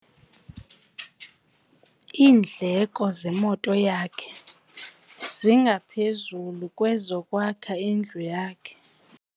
Iindleko zemoto yakhe zingaphezu kwezokwakha indlu yakhe.